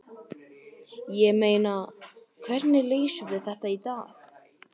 Ég meina, hvernig leysum við þetta í dag?